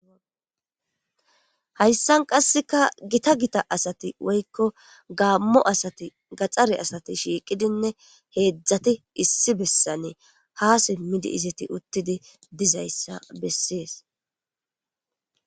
Hayssan qasseka gita gita asati woykko gaammo asati gaxxare asati shiiqidinne heedzdzati issi bessane ha simmidi izati uttidi dizayssa bessees.